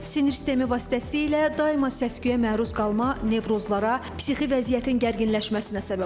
Sinir sistemi vasitəsilə daima səs-küyə məruz qalma nevrozlara, psixi vəziyyətin gərginləşməsinə səbəb olur.